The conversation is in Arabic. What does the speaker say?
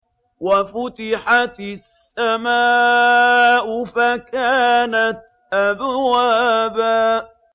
وَفُتِحَتِ السَّمَاءُ فَكَانَتْ أَبْوَابًا